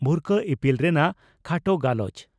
ᱵᱷᱩᱨᱠᱟᱹ ᱤᱯᱤᱞ ᱨᱮᱱᱟᱜ ᱠᱷᱟᱴᱚ ᱜᱟᱞᱚᱪ